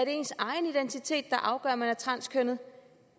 ens egen identitet der afgør om man er transkønnet